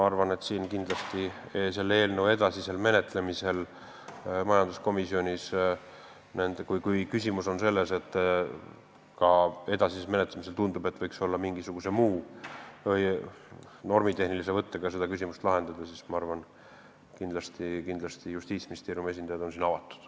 Aga mis puudutab selle eelnõu edasist menetlemist majanduskomisjonis, siis kui ka edasisel menetlemisel tundub, et võiks mingisuguse normitehnilise võttega seda küsimust lahendada, siis ma arvan, et kindlasti on Justiitsministeeriumi esindajad siin avatud.